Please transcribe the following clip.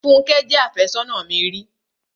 Fúnkẹ́ jẹ́ àfẹ́sónà mi ri.